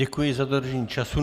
Děkuji za dodržení času.